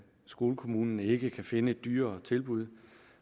skolekommunen ikke kan finde et dyrere tilbud